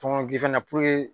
Tɔŋɔnɔ in na